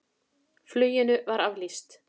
Fluginu var aflýst.